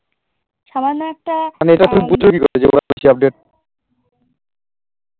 মানে এটা তুমি বুঝলে কি করে যে ওরা বেশি update